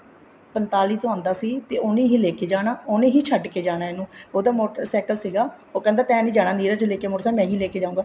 ਪੰਤਾਲੀ ਤੋਂ ਆਉਂਦਾ ਸੀ ਤੇ ਉਹਨੇ ਹੀ ਲੈਕੇ ਜਾਣਾ ਉਹਨੇ ਹੀ ਛੱਡ ਕੇ ਜਾਣਾ ਇਹਨੂੰ ਉਹਦਾ ਮੋਟਰ ਸਾਇਕਲ ਸੀਗਾ ਉਹ ਕਹਿੰਦਾ ਤੇਂ ਨੀ ਲੇਕੇ ਜਾਣਾ ਨੀਰਜ ਮੋਟਰ ਸਾਇਕਲ ਮੈਂ ਹੀ ਲੇਕੇ ਜਾਊਂਗਾ